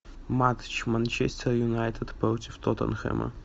матч манчестер юнайтед против тоттенхэма